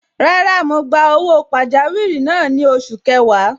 Rárá, mo gba owó pajawiri náà ni oṣù kẹwàá.